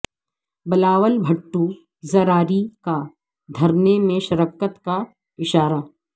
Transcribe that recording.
بلاول بھٹو زراری کا دھرنے میں شرکت کا اشارہ